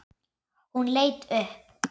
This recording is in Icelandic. Hún leit upp.